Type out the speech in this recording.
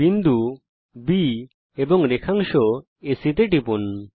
বিন্দু B এবং তারপর রেখাংশ এসি টিপুন